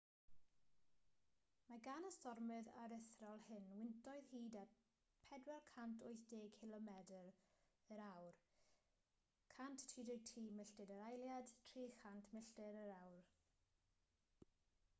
mae gan y stormydd aruthrol hyn wyntoedd hyd at 480 cilomedr/awr 133 milltir yr eiliad; 300 milltir yr awr